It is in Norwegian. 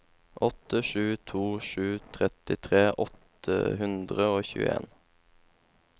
åtte sju to sju trettitre åtte hundre og tjueen